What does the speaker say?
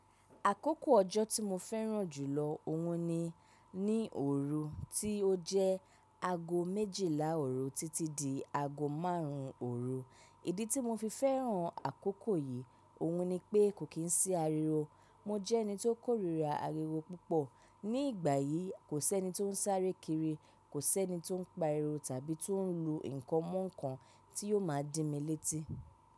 Àkókò ọjọ́ tí mo fẹ́ràn jù lọ òhun ni, ní òru tí ó jẹ́ ago méjìlá òru títí di ago márùn ún òru. Ìdí tí mo fi fẹ́ràn àkókò yìí òhun ni pé kò kín sí ariwo. Mo jẹ́ ẹni tó kórira ariwo púpọ̀. Ní ìgbà yìí kò sẹ́ni tó ń sáré kiri, kò sẹ́ni tó ń pariwo tàbí tó ń lu nǹkan mọ́ nǹkan tí yó máa dí mi létí.